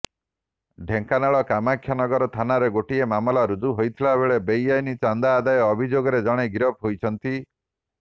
ଢେଙ୍କାନାଳର କାମାକ୍ଷାନଗର ଥାନାରେ ଗୋଟିଏ ମାମଲା ରୁଜୁ ହୋଇଥିବାବେଳେ ବେଆଇନ୍ ଚାନ୍ଦା ଆଦାୟ ଅଭିଯୋଗରେ ଜଣେ ଗିରଫ ହୋଇଛନ୍ତି